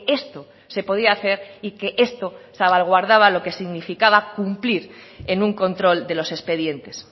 esto se podía hacer y que esto salvaguardaba lo que significaba cumplir en un control de los expedientes